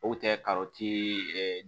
O tɛ